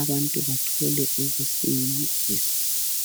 abantu bathole ukusiliswa.